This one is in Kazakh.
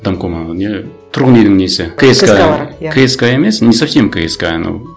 домком ана не тұрғын үйдің несі кск кск емес не совсем кск но